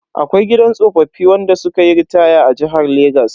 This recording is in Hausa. Akwai gidan tsoffi wanda sukayi ritaya a jihar Legas.